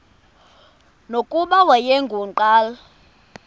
nokuba wayengu nqal